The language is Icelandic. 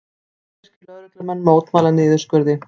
Vestfirskir lögreglumenn mótmæla niðurskurði